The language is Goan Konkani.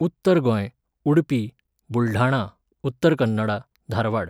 उत्तर गोंय, उडपी, बुलढाणा, उत्तर कन्नडा, धारवाड